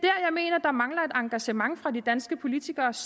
engagement fra de danske politikeres